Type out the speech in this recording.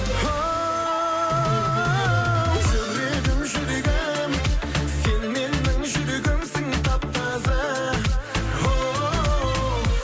хоу жүрегім жүрегім сен менің жүрегімсің тап таза хоу